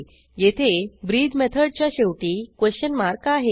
येथे ब्रीथ मेथडच्या शेवटी क्वेशन मार्क आहे